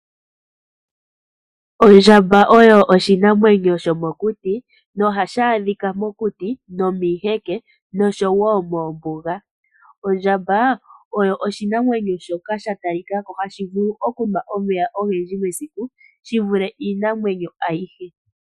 Ondjamba oyo oshinamwenyo shomokuti nohashi adhika mokuti nomiiheke noshowo moombuga. Ondjamba oyo oshinamwenyo shoka shatalikako hashi vulu okunwa omeya ogendji mesiku shivule iinamwenyo ayihe.